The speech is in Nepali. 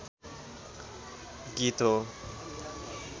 गीत हो